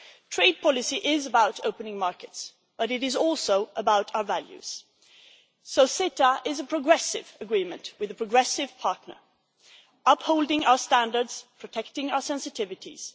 Trade policy is about opening markets, but it is also about our values, so CETA is a progressive agreement with a progressive partner, upholding our standards and protecting our sensitivities.